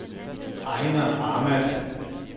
Ejner Ahmad